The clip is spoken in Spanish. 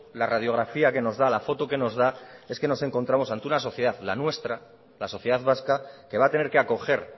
la radiografía que nos da la foto que nos da es que nos encontramos ante una sociedad la nuestra la sociedad vasca que va a tener que acoger